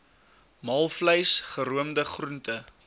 maalvleis geroomde groente